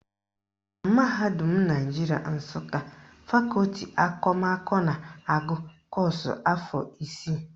Na mahadum Naijiria Nsụka, fakọti akụmakụ na-agụ kọ́ọ̀sụ̀ afọ isii